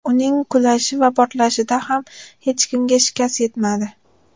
Uning qulashi va portlashida ham hech kimga shikast yetmadi.